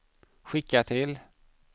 skicka till